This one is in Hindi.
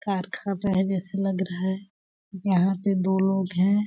कारखाना है जैसे लग रहा हैं। यहाँ पे दो लोग हैं।